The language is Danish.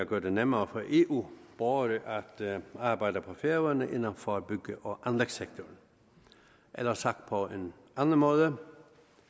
gøre det nemmere for eu borgere at arbejde på færøerne inden for bygge og anlægssektoren eller sagt på en anden måde